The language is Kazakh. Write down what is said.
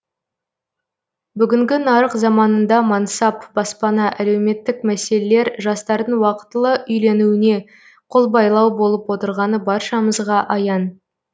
бүгінгі нарық заманында мансап баспана әлеуметтік мәселелер жастардың уақытылы үйленуіне қол байлау болып отырғаны баршамызға аян